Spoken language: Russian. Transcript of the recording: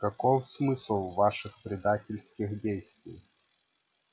каков смысл ваших предательских действий